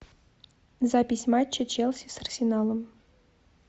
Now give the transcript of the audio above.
запись матча челси с арсеналом